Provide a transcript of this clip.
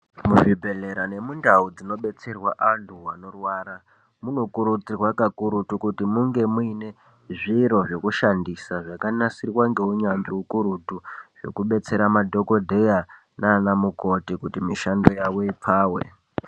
Muzvibhedhlera nemundau dzinobetserwa antu anorwara munokuridzirwa kakurutu kuti munge muine zviro zvekushandisa zvakanasirwa ngeunyanzvi ukurutu zvekubetsera madhokodheya nana mukoti kuti mishando yavo ipfawe.